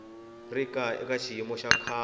ri eka xiyimo xa kahle